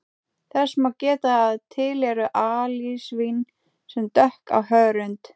Þess má geta að til eru alisvín sem dökk á hörund.